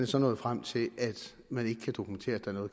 så nået frem til at man ikke kan dokumentere